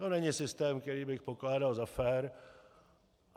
To není systém, který bych pokládal za fér.